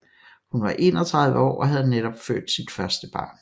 Hun var 31 år og havde netop født sit første barn